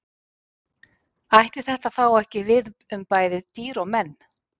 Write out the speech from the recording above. Ætti þetta þá ekki við um bæði dýr og menn?